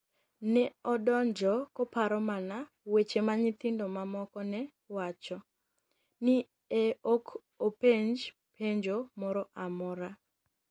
ni e odonigo koparo mania weche ma niyithinido mamoko ni e wacho. ni e ok openij penijo moro amora.